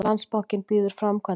Landsbankinn býður framkvæmdalán